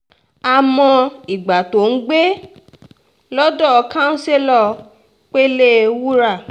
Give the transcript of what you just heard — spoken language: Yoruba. a mọ ìgbà tóò ń gbé lọ́dọ̀ councillor pẹ̀lẹ́wúrà